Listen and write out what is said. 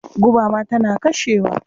Guba ma tana kashewa.